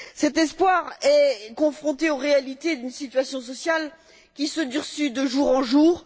Cet espoir est confronté aux réalités d'une situation sociale qui se durcit de jour en jour.